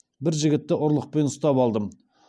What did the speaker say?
бір жігітті ұрлықпен ұстап алдым